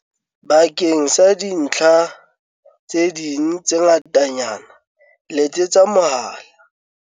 Bakeng sa dintlha tse ding tse ngatanyana letsetsa mohala